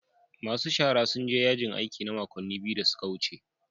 Masu shara sun je yajin aiki na makonni biyu da suka wuce.